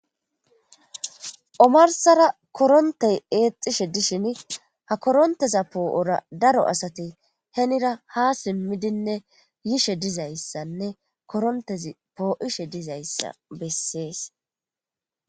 Omarssara koronththee eexxishe disheni ha koronththeza po7oora daro asathi heniira haa simmidine yishe dizayssanne koronththezi poo7ishe dizayssa bessees.